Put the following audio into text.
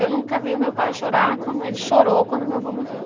Eu nunca vi o meu pai chorar como ele chorou quando meu vô morreu.